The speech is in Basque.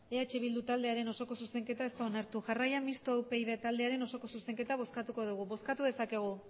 eh bildu taldearen osoko zuzenketa ez da onartu jarraian mistoa upyd taldearen osoko zuzenketa bozkatuko dugu bozkatu dezakegu